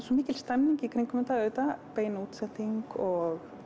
svo mikil stemning í kringum þetta auðvitað bein útsending og